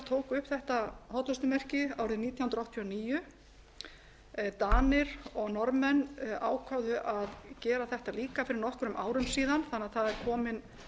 tóku upp þetta hollustumerki árið nítján hundruð áttatíu og níu danir og norðmenn ákváðu að gera þetta líka fyrir nokkrum árum síðan þannig að það er komin